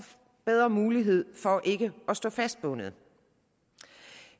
bedre mulighed for ikke at stå fastbundet